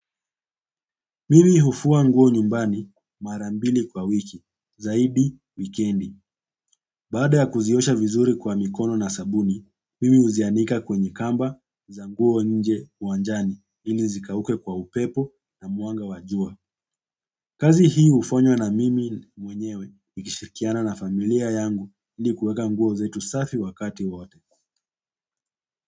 Mimi hufua nguo nyumbani mara mbili kwa wiki, zaidi, wikendi. Baada ya kuziosha vizuri kwa mikono na sabuni, mimi huzianika kwenye kamba za nguo nje uwanjani, ili zikauke kwa upepo na mwanga wa jua. Kazi hii hufanywa na mimi mwenyewe, nikishirikiana na familia yangu, ili kueka nguo zetu safi wakati wote.